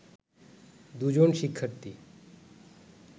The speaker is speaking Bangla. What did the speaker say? দু’জন শিক্ষার্থী